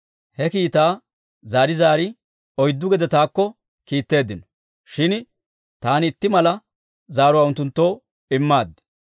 He kiitaa zaari zaari oyddu gede taakko kiitteeddino; shin taani itti mala zaaruwaa unttunttoo immaad.